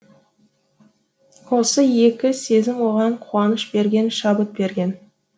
осы екі сезім оған қуаныш берген шабыт берген